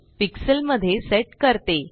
pixel मध्ये set करते